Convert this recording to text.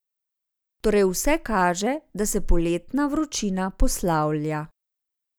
Torej vse kaže, da se poletna vročina poslavlja.